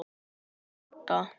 Amma Odda.